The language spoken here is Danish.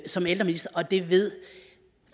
som ældreminister og det ved